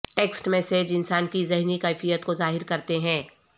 text message انسان کی ذہنی کیفیت کو ظاہر کرتے ہیں